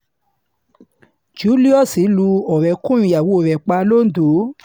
julius lu ọ̀rẹ́kùnrin ìyàwó rẹ̀ pa londo